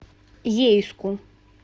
ейску